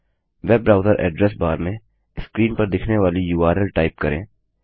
web browser address bar में screen पर दिखने वाली उर्ल टाइप करें